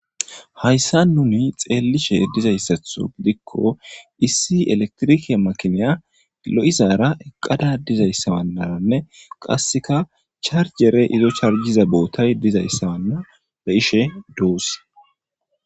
Haysan nuni xeelishe dizaysatho gidiko issi elekitirike makiniya lo'izara eqada dizaysaranne qaseka charjerey izo charkiza bootay dizaysa beyishe doos.